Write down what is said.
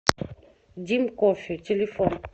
дим кофе телефон